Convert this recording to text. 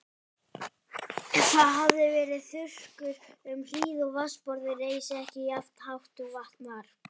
Það hafði verið þurrkur um hríð og vatnsborðið reis ekki jafnt hátt og vant var.